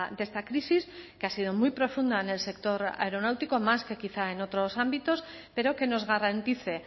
de esta crisis que ha sido muy profunda en el sector aeronáutico más que quizá en otros ámbitos pero que nos garantice